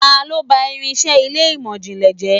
Ta lo bá irinse ilé imọ-jinlẹ jẹ?